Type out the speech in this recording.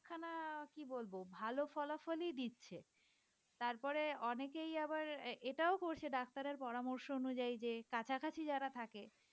কি বলবো ভালো ফলাফলই দিচ্ছে। তারপরে অনেকেই আবার এটাও করছে ডাক্তারের পরামর্শ অনুযায়ী যে কাছাকাছি যারা থাকে